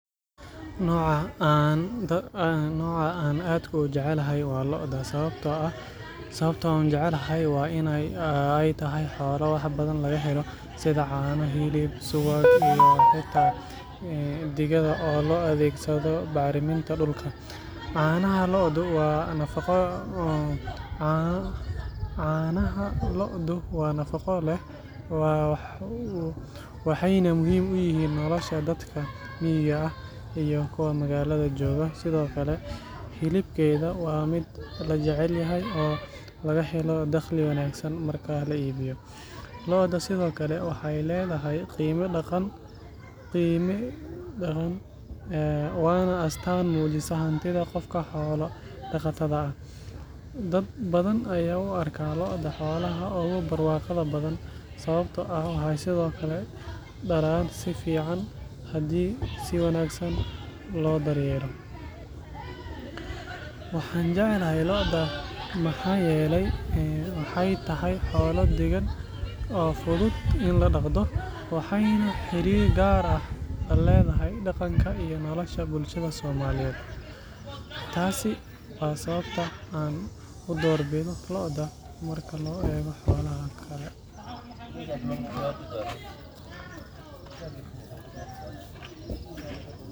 Nooca aan aadka u jeclahay waa lo’da. Sababta aan u jecelahay waa in ay tahay xoolo wax badan laga helo, sida caano, hilib, subag, iyo xitaa digada oo loo adeegsado bacriminta dhulka. Caanaha lo'du waa nafaqo leh, waxayna muhiim u yihiin nolosha dadka miyiga ah iyo kuwa magaalada jooga. Sidoo kale, hilibkeeda waa mid la jecel yahay, oo laga helo dakhli wanaagsan marka la iibiyo. Lo’da sidoo kale waxay leedahay qiime dhaqan, waana astaan muujisa hantida qofka xoolo dhaqatada ah. Dad badan ayaa u arka lo’da xoolaha ugu barwaaqada badan, sababtoo ah waxay sidoo kale dhalaan si fiican haddii si wanaagsan loo daryeelo. Waxaan jeclahay lo’da maxaa yeelay waxay tahay xoolo deggan, oo fudud in la dhaqdo, waxayna xiriir gaar ah la leedahay dhaqanka iyo nolosha bulshada Soomaaliyeed. Taasi waa sababta aan u doorbido lo’da marka loo eego xoolaha kale.